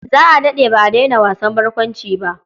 Za a daɗe ba a daina wasan barkwanci ba.